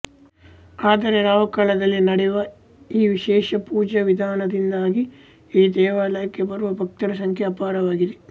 ಆದರೆ ರಾಹುಕಾಲದಲ್ಲೂ ನಡೆಯುವ ಈ ವಿಶೇಷ ಪೂಜಾವಿಧಾನದಿಂದಾಗಿ ಈ ದೇವಾಲಯಕ್ಕೆ ಬರುವ ಭಕ್ತರ ಸಂಖ್ಯೆ ಅಪಾರವಾಗಿದೆ